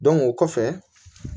o kɔfɛ